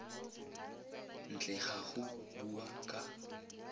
ntle ga go bua ka